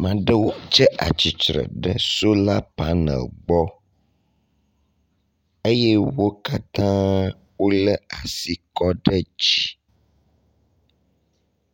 Ame aɖewo tse atsitre ɖe sola paneli gbe eye wo katã wole asi kɔ ɖe dzi